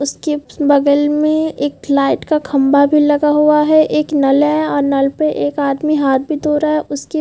उसके बगल में एक लाइट का खम्भा भी लगा हुआ है। एक नल है और नल पे एक आदमी हाथ भी धो रहा है। उसके--